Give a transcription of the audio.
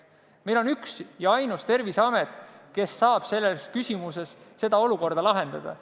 Meil on üks ja ainus Terviseamet, kes saab selles küsimuses seda olukorda lahendada.